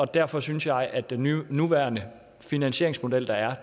derfor synes jeg at den nuværende finansieringsmodel der er